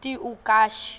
tiuakashi